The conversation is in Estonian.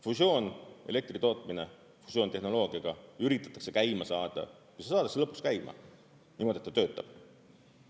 Fusioonelektritootmine, fusioontehnoloogiaga üritatakse käima saada ja see saadakse lõpuks käima, niimoodi, et ta töötab.